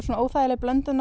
óþægileg blöndun